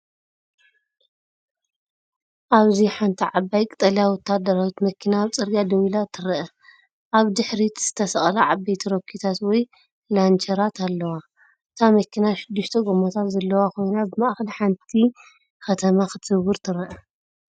ኣብዚ ሓንቲ ዓባይ ቀጠልያ ወተሃደራዊት መኪና ኣብ ጽርግያ ደው ኢላ ትርአ። ኣብ ድሕሪት ዝተሰቕላ ዓበይቲ ሮኬታት ወይ ላንቸራት ኣለዋ። እታ መኪና ሽዱሽተ ጎማታት ዘለዋ ኮይና፡ ብማእከል ሓንቲ ከተማ ክትዝውር ትርአ።